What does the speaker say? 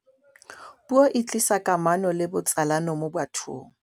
puo e tlisa kamano le botsalano mo bathong